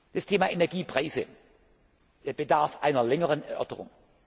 kann. Das Thema Energiepreise bedarf einer längeren Erörterung.